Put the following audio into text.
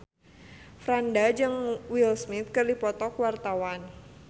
Franda jeung Will Smith keur dipoto ku wartawan